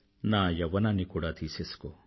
నా యవ్వనాన్ని కూడా తీసేసుకో